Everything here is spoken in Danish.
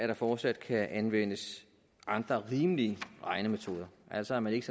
der fortsat kan anvendes andre rimelige regnemetoder altså at man ikke